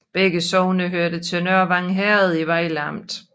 Begge sogne hørte til Nørvang Herred i Vejle Amt